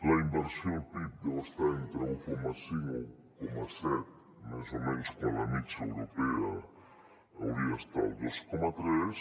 la inversió al pib deu estar entre un coma cinc o un coma set més o menys quan la mitjana europea hauria d’estar al dos coma tres